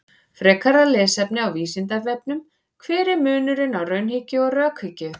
Frekara lesefni á Vísindavefnum: Hver er munurinn á raunhyggju og rökhyggju?